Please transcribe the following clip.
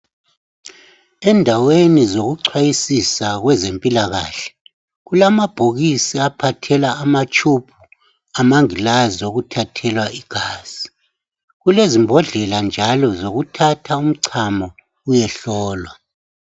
Endaweni zokucwayisisa kwezempilakahle , kulamabhokisi aphathela amatshubhu amangilazi okuthathelwa igazi .Kulezimbodlela njalo zokuthatha umcamo uyehlolwa.